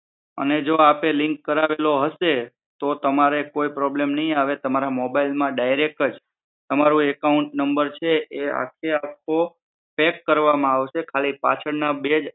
અને જો આપે લીક કરાવેલો હશે તો તમારે કોઈ પ્રોબ્લેમ નહીં આવે તમારા મોબાઈલ માં ડાઈરેક્ટજ તમારું એકાંઉટ નમ્બર છે એ આખે આખો પેક કરવામાં આવશે ખાલી પાછળ ના બે